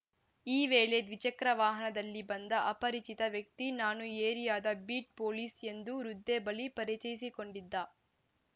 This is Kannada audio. ಈ ವೇಳೆ ದ್ವಿಚಕ್ರ ವಾಹನದಲ್ಲಿ ಬಂದ ಅಪರಿಚಿತ ವ್ಯಕ್ತಿ ನಾನು ಏರಿಯಾದ ಬೀಟ್‌ ಪೊಲೀಸ್‌ ಎಂದು ವೃದ್ಧೆ ಬಳಿ ಪರಿಚಯಿಸಿಕೊಂಡಿದ್ದ